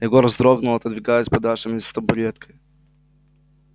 егор вздрогнул отодвигаясь подальше вместе с табуреткой